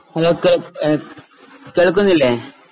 Hello കേൾ ഏഹ് കേൾക്കുന്നില്ലേ?